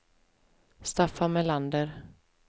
Staffan Melander